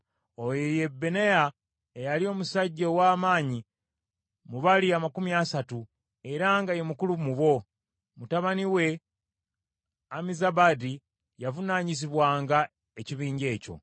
Oyo ye Benaya eyali omusajja ow’amaanyi mu bali amakumi asatu, era nga ye mukulu mu bo. Mutabani we Ammizabaadi yavunaanyizibwanga ekibinja ekyo.